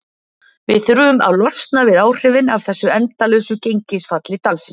Við þurfum að losna við áhrifin af þessu endalausa gengisfalli dalsins.